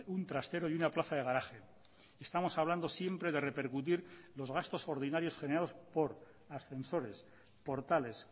un trastero y una plaza de garaje estamos hablando siempre de repercutir los gastos ordinarios generados por ascensores portales